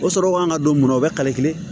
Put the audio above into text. O sɔrɔ kan ka don mun na o bɛ kale kelen